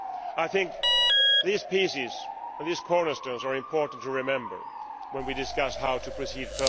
I think these pieces and cornerstones are important to remember when we discuss how to proceed.